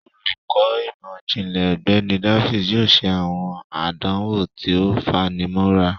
Olukọ imọ-jinlẹ Ọgbẹni Davis yoo ṣe awọn àdánwò tí o fanimọra.